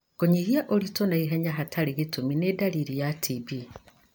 Kũnyihia ũritũ na ihenya hatarĩ gĩtũmi nĩ ndariri ya TB.